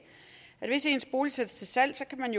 at man hvis ens bolig sættes til salg kan